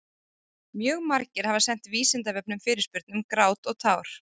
Mjög margir hafa sent Vísindavefnum fyrirspurn um grát og tár.